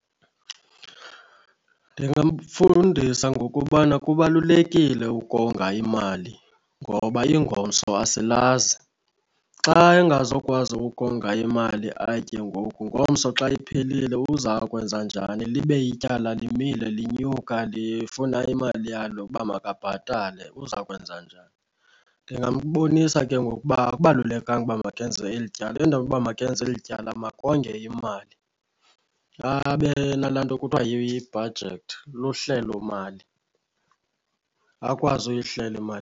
Ndingamfundisa ngokubana kubalulekile ukonga imali ngoba ingomso asilazi. Xa engazokwazi ukonga imali atye ngoku, ngomso xa iphelile uza kwenza njani libe ityala limile linyuka lifuna imali yalo ukuba makabhatale uza kwenza njani. Ndingambonisa ke ngoku uba akubalulekanga uba makenze eli tyala, endaweni yoba makenze eli tyala makonge imali. Abe nalaa nto kuthiwa yi-budget, luhlelo mali akwazi uyihlela imali.